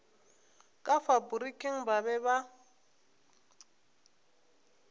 ka faporiking ba be ba